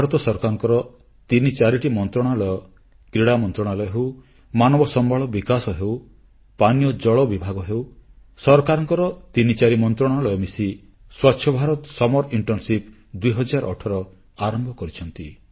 ଭାରତ ସରକାରଙ୍କ ତିନି ଚାରୋଟି ମନ୍ତ୍ରଣାଳୟ କ୍ରୀଡ଼ା ମନ୍ତ୍ରଣାଳୟ ହେଉ ମାନବ ସମ୍ବଳ ବିକାଶ ହେଉ ପାନୀୟ ଜଳ ବିଭାଗ ହେଉ ସରକାରଙ୍କ ତିନିଚାରି ମନ୍ତ୍ରଣାଳୟ ମିଶି ସ୍ବଚ୍ଛ ଭାରତ ଗ୍ରୀଷ୍ମଛୁଟି ଇଣ୍ଟର୍ଣ୍ଣସିପ 2018 ଆରମ୍ଭ କରିଛନ୍ତି